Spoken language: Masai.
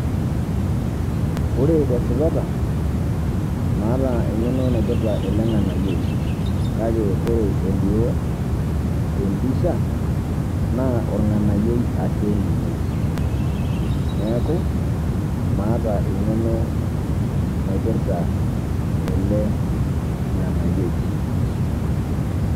Ore tesipata, maata eng'eno naipirta ele ng'anayioi. Kake ore elio, tempisha, naa orng'anayioi ake ninye. Neeku, maata eng'eno naipirta ele ng'anayioi.